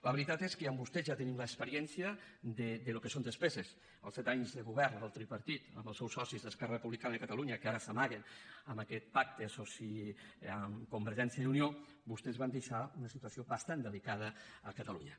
la veritat és que amb vostès ja tenim l’experiència del que són despeses els set anys de govern del tripartit amb els seus socis d’esquerra republicana de catalunya que ara s’amaguen amb aquest pacte amb convergència i unió vostès van deixar una situació bastant delicada a catalunya